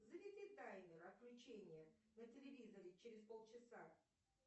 заведи таймер отключения на телевизоре через полчаса